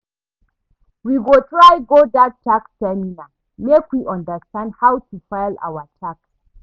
We go try go dat tax seminar, make we understand how to file our tax.